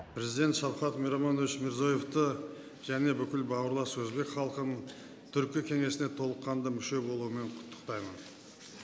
президент шафхат миромонович мирзиёевты және бүкіл бауырлас өзбек халқын түркі кеңесіне толыққанды мүше болуымен құттықтаймын